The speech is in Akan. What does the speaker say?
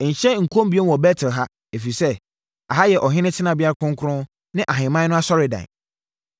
Nhyɛ nkɔm bio wɔ Bet-El ha, ɛfiri sɛ ɛha yɛ ɔhene tenabea kronkron ne ahemman no asɔredan.”